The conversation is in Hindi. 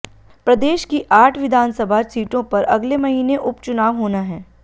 प्रदेश की आठ विधानसभा सीटों पर अगले महीने उपचुनाव होना है